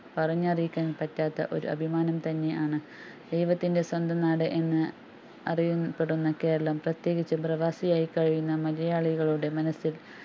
പറഞ്ഞു അറിയിക്കാൻ പറ്റാത്ത ഒരു അഭിമാനം തന്നെയാന്ന് ദൈവത്തിന്റെ സ്വന്തം നാട് എന്ന് അറിയും പെടുന്ന കേരളം പ്രതേകിച്ചു പ്രവാസിയായി കഴിയുന്ന മലയാളികളുടെ മനസ്സിൽ